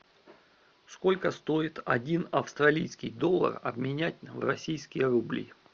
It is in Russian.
сколько стоит один австралийский доллар обменять на российские рубли